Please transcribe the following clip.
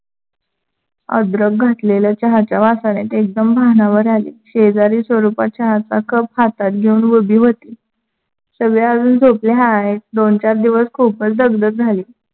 अद्रक घातलेल्या चहाच्या वासाने ते एकदम भानावर आले. शेजारी स्वरूपाच्या हातचा कप हातात घेऊन उभी होती. सगळ्या अजून झोपले आहेत. दोन चार दिवस खुपच दगदग झाली.